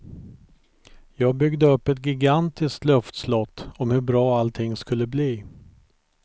Jag byggde upp ett gigantiskt luftslott om hur bra allting skulle bli.